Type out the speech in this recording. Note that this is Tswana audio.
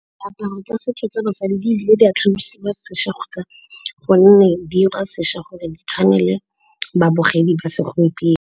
Diaparo tsa setso tsa basadi di ile di a tlhalosiwa sešwa gonne di 'ira sešwa gore di tshwane le babogedi ba segompieno.